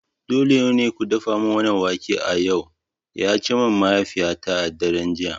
Dole ne ku dafa wannan wake a yau! ya ce min mahaifiyata a daren jiya